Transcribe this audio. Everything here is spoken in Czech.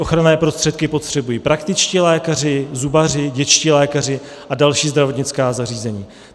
Ochranné prostředky potřebují praktičtí lékaři, zubaři, dětští lékaři a další zdravotnická zařízení.